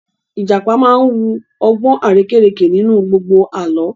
Ìjàpá máa wu ọgbọ́n arérekè nínú gbogbo Àlọ́